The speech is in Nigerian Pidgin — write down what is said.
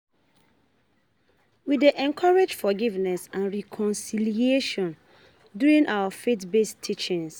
We dey encourage forgiveness and reconciliation during our faith-based teachings.